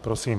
Prosím.